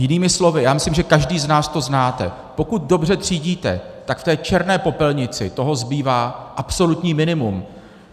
Jinými slovy, já myslím, že každý z nás to znáte: pokud dobře třídíte, tak v té černé popelnici toho zbývá absolutní minimum.